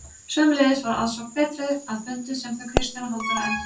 Sömuleiðis var aðsókn betri að fundum sem þau Kristján og Halldóra efndu til.